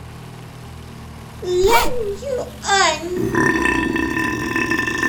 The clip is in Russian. ляньюань